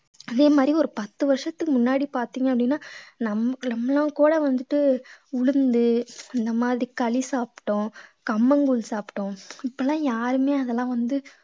அதே மாதிரி ஒரு பத்து வருஷத்துக்கு முன்னாடி பார்த்தீங்க அப்படின்னா நம்~ நம்மளும் கூட வந்துட்டு உளுந்து இந்த மாதிரி களி சாப்பிட்டோம் கம்மங்கூழ் சாப்பிட்டோம் இப்பலாம் யாருமே அதெல்லாம் வந்து